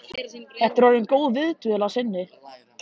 Þetta er orðin góð viðdvöl að sinni.